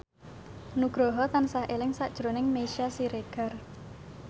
Nugroho tansah eling sakjroning Meisya Siregar